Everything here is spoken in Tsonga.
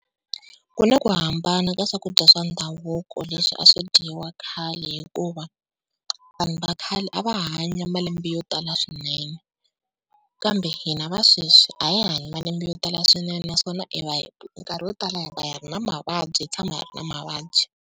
Ku na ku hambana ka swakudya swa ndhavuko leswi a swi dyiwa khale, hikuva vanhu va khale a va hanya malembe yo tala swinene. Kambe hina va sweswi a hi hanyi malembe yo tala swinene, naswona minkarhi yo tala hi va hi ri na mavabyi hi tshama hi ri na mavabyi.